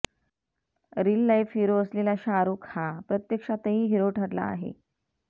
रिल life hero असलेला शाहरूख हा प्रत्यक्षातही हिरो ठरला आहे